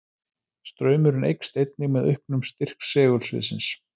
Straumurinn eykst einnig með auknum styrk segulsviðsins.